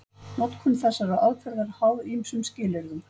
Notkun þessarar aðferðar er háð ýmsum skilyrðum.